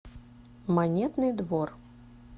монетный двор